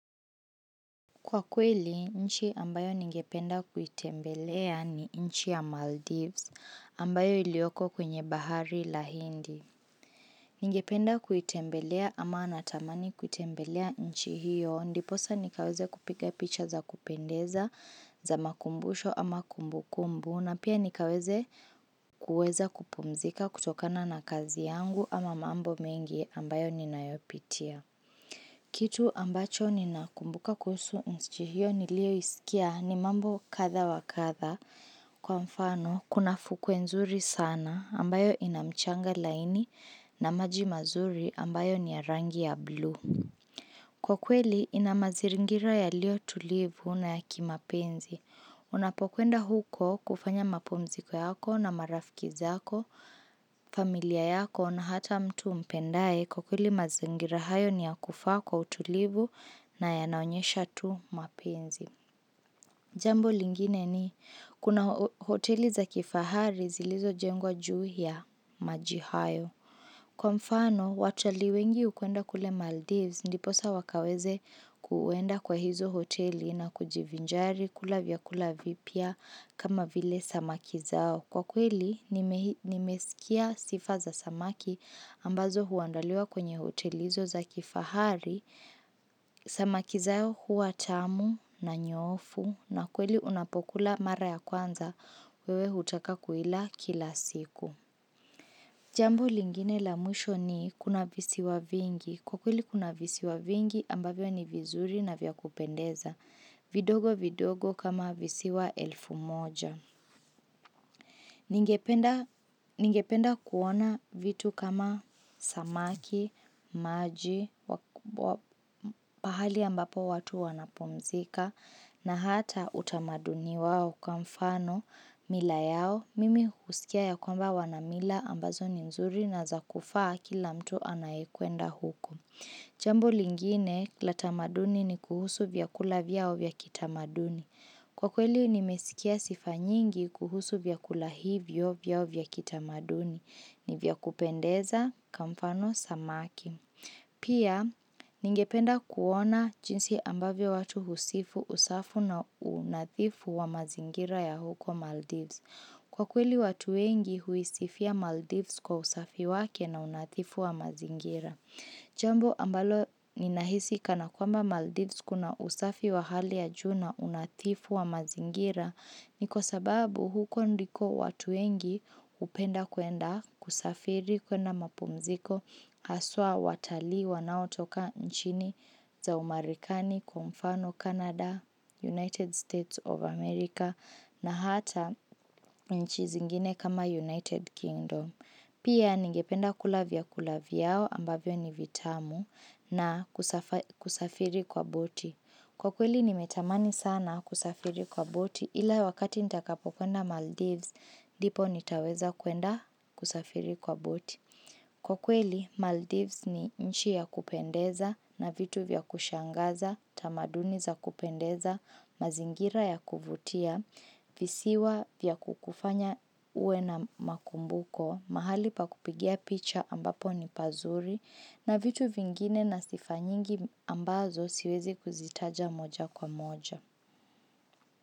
Kwa kweli, nchi ambayo ningependa kuitembelea ni nchi ya Maldives ambayo ilioko kwenye bahari la hindi. Ningependa kuitembelea ama anatamani kuitembelea nchi hiyo, ndiposa nikaweze kupika picha za kupendeza za makumbusho ama kumbukumbu na pia nikaweze kuweza kupumzika kutokana na kazi yangu ama mambo mengi ambayo nina yopitia. Kitu ambacho nina kumbuka kusu nchihio nilio isikia ni mambo katha wa katha kwa mfano kuna fukwe nzuri sana ambayo inamchanga laini na maji mazuri ambayo ni ya rangi ya blue. Kwa kweli, ina maziringira ya lio tulivu na ya kimapenzi. Unapokuenda huko kufanya mapomziko yako na marafkizako, familia yako na hata mtu mpendae. Kwa kweli maziringira hayo ni ya kufaa kwa utulivu na ya naonyesha tu mapenzi. Jambo lingine ni, kuna hoteli za kifahari zilizo jengwa juu ya majihayo. Kwa mfano, watali wengi ukuenda kule Maldives, ndiposa wakaweze kuenda kwa hizo hoteli na kujivinjari kula vyakula vipia kama vile samaki zao. Kwa kweli, nimesikia sifa za samaki ambazo huandaliwa kwenye hotelizo za kifahari, samaki zao hua chamu na nyofu na kweli unapokula mara ya kwanza, wewe hutaka kuila kila siku. Jambu lingine la mwisho ni kuna visi wa vingi. Kukuli kuna visi wa vingi ambavyo ni vizuri na vya kupendeza. Vidogo vidogo kama visi wa elfu moja. Ningependa kuona vitu kama samaki, maji, pahali ambapo watu wanapomzika, na hata utamaduni wao kwa mfano mila yao, mimi husikia ya kwamba wanamila ambazo ni mzuri na zakufaa kila mtu anayekuenda huku. Jambo lingine la tamaduni ni kuhusu vya kula vyao vya kitamaduni. Kwa kweli ni mesikia sifanyingi kuhusu vya kula hivyo vya o vya kitamaduni ni vya kupendeza kamfano samaki. Pia ningependa kuona jinsi ambavyo watu husifu usafu na unathifu wa mazingira ya huko Maldives. Kwa kweli watuengi huisifia Maldives kwa usafi wake na unathifu wa mazingira. Jambo ambalo ni nahisi kana kwamba Maldives kuna usafi wa hali ajuna unathifu wa mazingira ni kwa sababu huko ndiko watuengi upenda kuenda kusafiri kwa na mapumziko aswa watali wanau toka nchini za umarikani kwa mfano Canada, United States of America na hata nchi zingine kama United Kingdom Pia ningependa kulavia kulaviao ambavyo ni vitamu na kusafiri kwa boti Kwa kweli nimetamani sana kusafiri kwa boti ila wakati nitakapo kwenda Maldives Dipo nitaweza kwenda kusafiri kwa boti Kwa kweli Maldives ni nchi ya kupendeza na vitu vya kushangaza tamaduni za kupendeza, mazingira ya kuvutia visiwa vya kukufanya uwe na makumbuko mahali pa kupigia picha ambapo ni pazuri na vitu vingine na sifanyingi ambazo siwezi kuzitaja moja kwa moja.